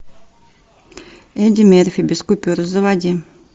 эдди мерфи без купюр заводи